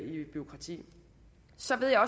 i bureaukrati så ved jeg